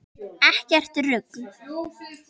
Ekkert rugl.